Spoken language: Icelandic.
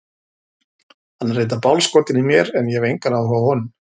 Hann er reyndar bálskotinn í mér en ég hef engan áhuga á honum.